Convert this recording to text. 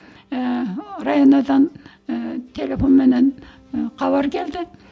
ііі районо дан ііі телефонменен ііі хабар келді